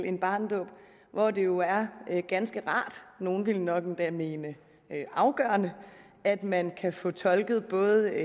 en barnedåb hvor det jo er ganske rart nogle vil nok endda mene afgørende at man kan få tolket både